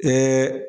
Ko